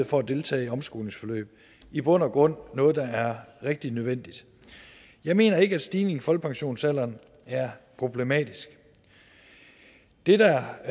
for at deltage i omskolingsforløb i bund og grund noget der er rigtig nødvendigt jeg mener ikke at stigningen i folkepensionsalderen er problematisk det der